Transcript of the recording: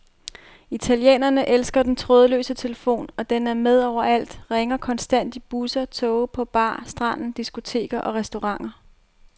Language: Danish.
Italienerne elsker den trådløse telefon, og den er med overalt og ringer konstant i busser, toge, på bar, stranden, diskoteker og restauranter.